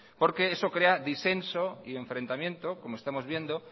eso crea disenso y enfrentamiento como estamos viendo